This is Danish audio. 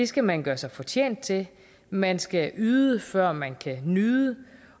skal man gøre sig fortjent til man skal yde før man kan nyde